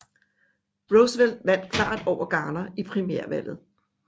Roosevelt vandt klart over Garner i primærvalget